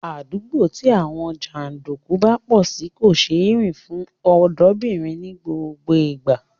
Àdúgbò tí àwọn jàndùkú bá pọ̀ sí kò ṣeé rìn fún ọ̀dọ́mọbìnrin ní gbogbo ìgbà